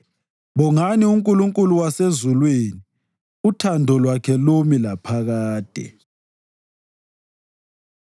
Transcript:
Bongani uNkulunkulu wasezulwini, uthando lwakhe lumi laphakade.